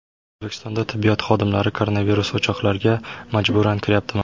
O‘zbekistonda tibbiyot xodimlari koronavirus o‘choqlariga majburan kiryaptimi?